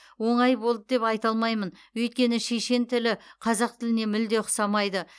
оңай болды деп айта алмаймын өйткені шешен тілі қазақ тіліне мүлде ұқсамайды